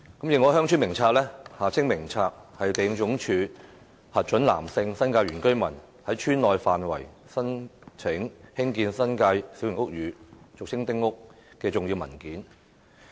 《認可鄉村名冊》是地政總署核准男性新界原居民，申請在村內範圍興建新界小型屋宇的重要文件。